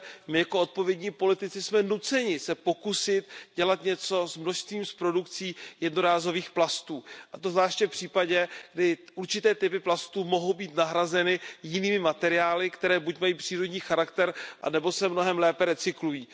My jako odpovědní politici jsme nuceni se pokusit dělat něco s množstvím, s produkcí jednorázových plastů, a to zvláště v případě, kdy určité typy plastů mohou být nahrazeny jinými materiály, které buď mají přírodní charakter nebo se mnohem lépe recyklují.